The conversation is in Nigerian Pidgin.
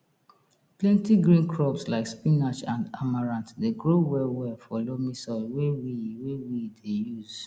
plenti green crops like spinach and amaranth dey grow well well for loamy soil wey we wey we dey use